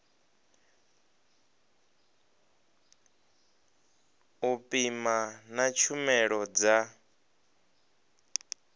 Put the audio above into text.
u pima na tshumelo dza